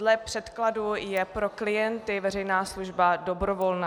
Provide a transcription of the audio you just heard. Dle předkladu je pro klienty veřejná služba dobrovolná.